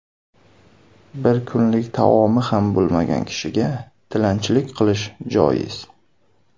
Bir kunlik taomi ham bo‘lmagan kishiga tilanchilik qilish joiz.